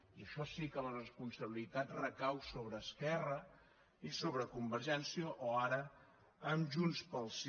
i això sí que la responsabilitat recau sobre esquerra i sobre convergència o ara en junts pel sí